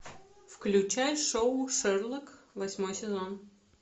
включай шоу шерлок восьмой сезон